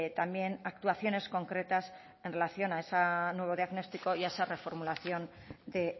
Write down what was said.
también actuaciones concretas en relación a ese nuevo diagnóstico y a esa reformulación de